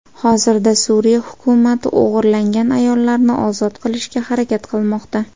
Hozirda Suriya hukumati o‘g‘irlangan ayollarni ozod qilishga harakat qilmoqda.